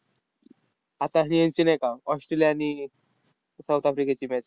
आता ही ह्यांची नाही का, ऑस्ट्रेलिया आणि साऊथ आफ्रिकेची match